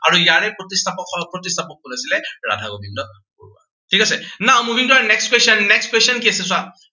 আৰু ইয়াৰে প্ৰতিষ্ঠাপক হম প্ৰতিষ্ঠাপক কোন আছিলে ৰাধা গোৱিন্দ বৰুৱা। ঠিক আছে। now moving to our next question, nest question কি আছিলে চোৱা